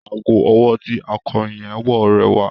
Ago ọwọ́ tí akọrin yẹn wọ rẹwà.